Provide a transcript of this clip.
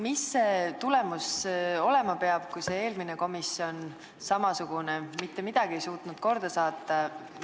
Mis see tulemus olema peab, kui eelmine samasugune komisjon ei suutnud mitte midagi korda saata?